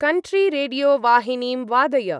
कण्ट्री-रेडियो-वाहिनीं वादय।